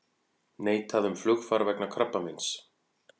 Neitað um flugfar vegna krabbameins